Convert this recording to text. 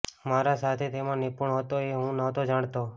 મારા સાથી તેમાં નિપુણ હતો એ હું નહોતો જાણતો